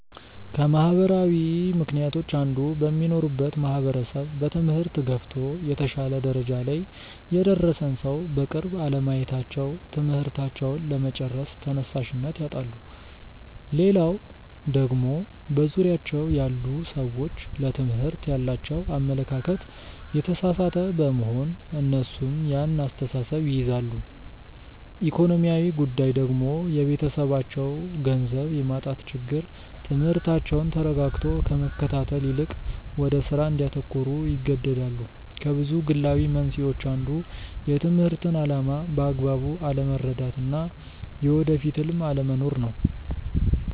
ከማህበራዊ ምክንያቶች አንዱ በሚኖሩበት ማህበረሰብ በትምህርት ገፍቶ የተሻለ ደረጃ ላይ የደረሰን ሰው በቅርብ አለማየታቸው ትምህርታቸውን ለመጨረስ ተነሻሽነት ያጣሉ። ሌላው ደግሞ በዙሪያቸው ያሉ ሰዎች ለትምህርት ያላቸው አመለካከት የተሳሳተ በመሆን እነሱም ያን አስተሳሰብ ይይዛሉ። ኢኮኖሚያዊ ጉዳይ ደግሞ የቤተሰባቸው ገንዘብ የማጣት ችግር ትምህርታቸውን ተረጋግቶ ከመከታተል ይልቅ ወደ ስራ እንዲያተኩሩ ይገደዳሉ። ከብዙ ግላዊ መንስኤዎች አንዱ የትምህርትን አላማ በአግባቡ አለመረዳት እና የወደፊት ህልም አለመኖር ነው።